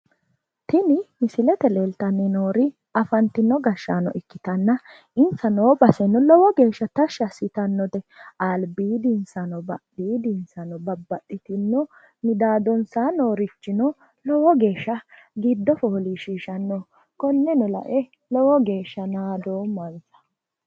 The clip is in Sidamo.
Tini misilete leeltanni noori afantinno gashshaano ikkitanna insa noo baseno lowo geeshshano tashshi assitannote. albiidinsano badhiidinsano babbaxxitino midaadonsaa noorichino lowo geeshsha giddo foolishshiishannoho. Konneno lae lowo geeshsha naadoommansa.